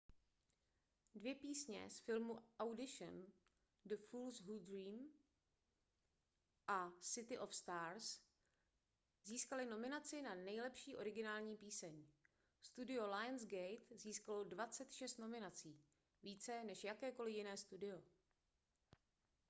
dvě písně z filmu audition the fools who dream a city of stars získaly nominace na nejlepší originální píseň. studio lionsgate získalo 26 nominací – více než jakékoli jiné studio